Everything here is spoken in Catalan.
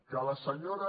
que la senyora